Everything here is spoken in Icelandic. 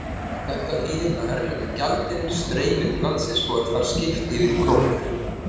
Þetta þýðir að erlendur gjaldeyrir streymir til landsins og er þar skipt yfir í krónur.